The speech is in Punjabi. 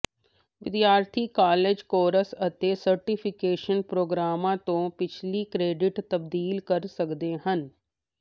ਵਿਦਿਆਰਥੀ ਕਾਲਜ ਕੋਰਸ ਅਤੇ ਸਰਟੀਫਿਕੇਸ਼ਨ ਪ੍ਰੋਗਰਾਮਾਂ ਤੋਂ ਪਿਛਲੀ ਕ੍ਰੈਡਿਟ ਤਬਦੀਲ ਕਰ ਸਕਦੇ ਹਨ